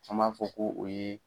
An b'a fɔ k'o o ye.